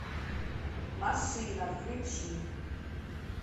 машина включи